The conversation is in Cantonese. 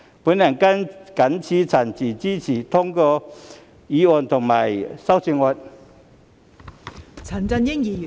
我謹此陳辭，支持通過議案及修正案。